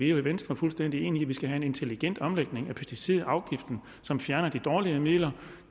jo i venstre fuldstændig enige i at vi skal have en intelligent omlægning af pesticidafgiften som fjerner de dårlige midler